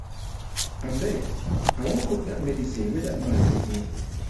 abeg i wan cook wan cook dat medicine dat man give me.